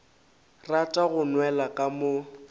rata go nwela ka mo